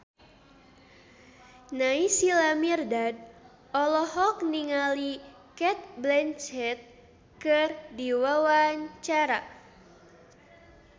Naysila Mirdad olohok ningali Cate Blanchett keur diwawancara